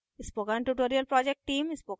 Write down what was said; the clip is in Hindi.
spoken tutorial project team